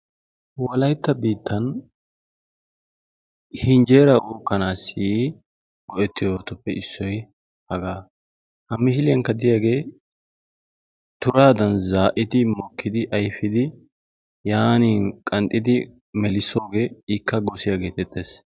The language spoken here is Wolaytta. Wolaytta biittan henjjera uukkanassi go'etiyoobatuppe issoy haga; ha misiliyankka diyaage turadan zaa'di mokkidi ayfin yaanin qanxxidi melissoogee ikka gosiya getetees.